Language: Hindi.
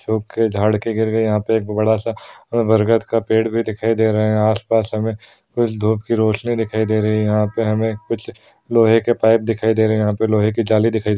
सूखे झाड़ के गिर गए यहाँ पे एक बड़े सा बरगद का पेड़ भी दिखाई दे रहे है आस पास हमें कुछ धुप की रोशनी दिखाई दे रही है यहाँ पे हमें कुछ लोहे के पाइप दिखाई दे रही है। यहाँ पे लोहे की जाली दिखाई दे--